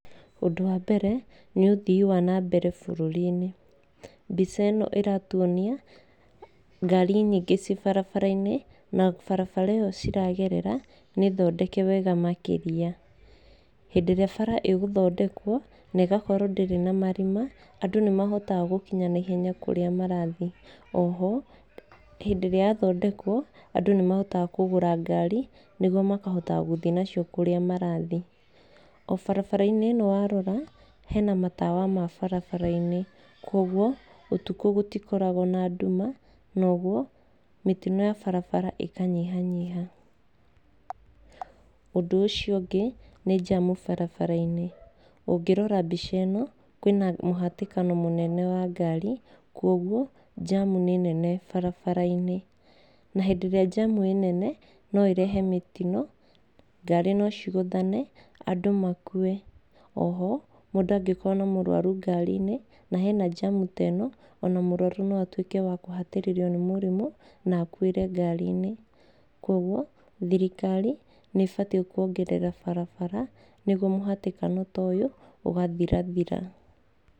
Ũndũ wa mbere nĩ ũthii wa na mbere bũrũri-inĩ. Mbica ĩno ĩratuonia ngari nyingĩ ciĩ barabara-inĩ na barabara ĩyo ciragerera nĩthondeke wega makĩria. Hĩndĩ ĩrĩa bara ĩgũthondekwo na ĩgakorwo ndĩrĩ na marima, andũ nĩmahotaga gũkinya naihenya kũrĩa marathiĩ. Oho hĩndĩ ĩrĩa yathondekwo, andũ nĩmahotaga kũgũra ngari nĩguo makahotaga gũthiĩ nacio kũrĩa marathiĩ. O barabara-inĩ ĩno warora, hena matawa ma barabara-inĩ, kuoguo ũtukũ gũtikoragwo na nduma na ũguo mĩtino ya barabara ĩkanyihanyiha. Ũndũ ũcio ũngĩ nĩ njamu barabara-inĩ. Ũngĩrora mbica ĩno kwĩna mũhatĩkano mũnene wa ngari, kuoguo njamu nĩ nene barabara-inĩ. Na hĩndĩ ĩrĩa njamu ĩnene, no ĩrehe mĩtino ngari no cigũthane, andũ makue. Oho, mũndũ angĩkorwo na mũrwaru ngari-inĩ, na hena njamu ta ĩno, ona mũrwaru no atuĩke wa kũhatĩrĩrio nĩ mũrimũ na akuĩre ngari-inĩ. Kuoguo thirikari nĩĩbatiĩ kuongerera barabara nĩguo mũhatĩkano ta ũyũ ũgathirathira.